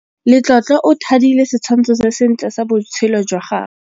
Letlotlo o thadile setshwantshô se sentle sa botshelo jwa gagwe.